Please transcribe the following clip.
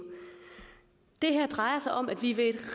det her drejer sig om at vi ved et